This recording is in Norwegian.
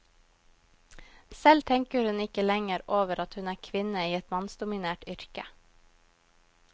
Selv tenker hun ikke lenger over at hun er kvinne i et mannsdominert yrke.